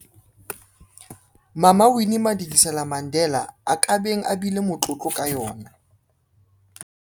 Mama Winnie Madikizela-Mandela a ka beng a bile motlotlo ka yona.